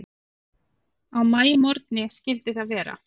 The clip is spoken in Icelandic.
Á maímorgni skyldi það vera.